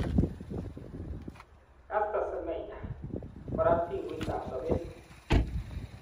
Castor Semenya korat pinguitab sobet.